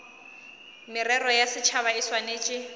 merero ya setšhaba e swanetše